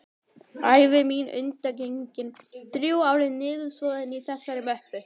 Ævi mín undangengin þrjú ár er niðursoðin í þessari möppu.